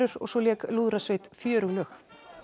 og svo lék lúðrasveit fjörug lög